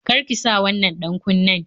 Kar ki sa wannan ɗan-kunnen